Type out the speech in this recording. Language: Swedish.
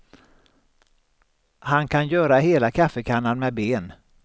Han kan göra hela kaffekannan med ben.